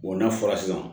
n'a fɔra sisan